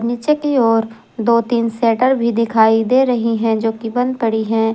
पीछे की ओ र दो तीन शटर भी दिखाई दे रही है जो कि बंद पड़ी है।